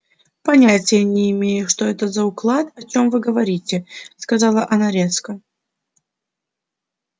понятия не имею что это за уклад о чём вы говорите сказала она резко